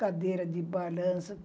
Cadeira de balança.